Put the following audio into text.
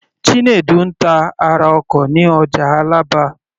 Chinedu ń ta ara ọkọ̀ ní ọjà Alaba.